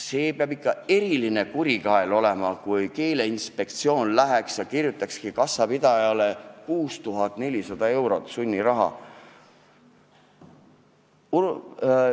See peaks ikka eriline kurikael olema, kui Keeleinspektsioon läheks ja nõuaks kassapidajalt välja 6400 eurot sunniraha.